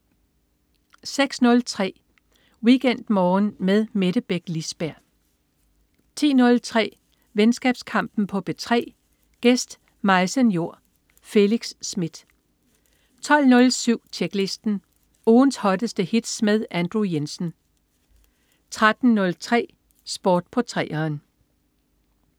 06.03 WeekendMorgen med Mette Beck Lisberg 10.03 Venskabskampen på P3. Gæst: Maise Njor. Felix Smith 12.07 Tjeklisten. Ugens hotteste hits med Andrew Jensen 13.03 Sport på 3'eren